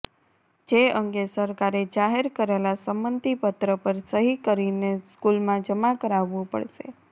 જે અંગે સરકારે જાહેર કરેલા સંમતિપત્ર પર સહિ કરીને સ્કૂલમાં જમા કરાવવું પડશે